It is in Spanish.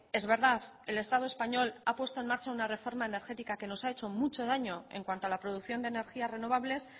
es verdad el estado español ha puesto en marcha una reforma energética que nos ha hecho mucho daño en cuanto a la producción de energías renovables